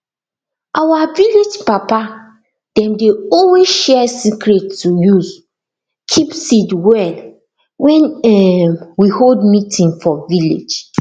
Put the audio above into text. our vilage papa dem dey always share secret to use keep seed well wen um we hold meeting for village